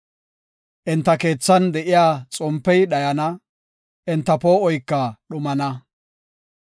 Enta keethan de7iya xompey dhayana; enta poo7oyka dhumana.